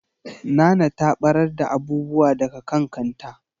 Nana ta ɓarar da abubuwa daga kan kanta.